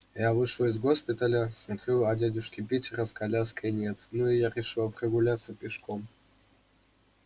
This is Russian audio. я вышла из госпиталя смотрю а дядюшки питера с коляской нет ну я и решила прогуляться пешком